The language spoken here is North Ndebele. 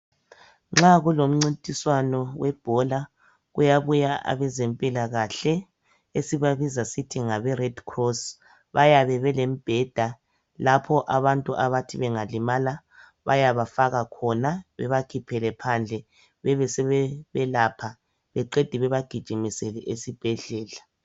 Nxa kulemncintiswane zebhola kuyabuya abezempilakahle esibabiza sithi ngabe red cross bayabe belembheda lapha abantu abathi bengalima bayabafaka khona bebakhiphele phandle bebesebebayelapha beqede bebegijimisele esibhedlela